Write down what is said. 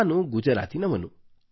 ನಾನು ಗುಜರಾತಿನವನು